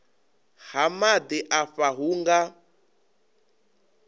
ha maḓi afha hu nga